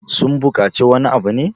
sun bukaci wani abu ne?